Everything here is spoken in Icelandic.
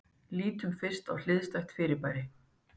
Lítum fyrst á hliðstætt fyrirbæri.